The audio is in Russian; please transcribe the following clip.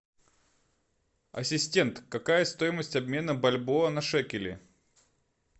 ассистент какая стоимость обмена бальбоа на шекели